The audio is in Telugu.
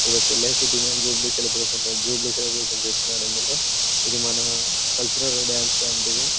ఇది ఒక LIC demand celebration jubilee celebration చేస్తున్నారు ఎందుకో ఇది మన కల్చర్ డాన్స్ లాంటిది.